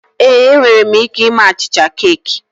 Ee, enwere m ike ime achịcha keeki